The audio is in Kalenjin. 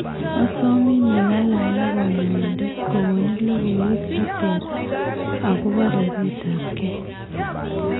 Asomin ing'alal ak kanyoindet kokoni logoywek cheter akobo ribeet ab kee